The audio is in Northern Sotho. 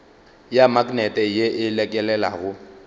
ya maknete ye e lekelelago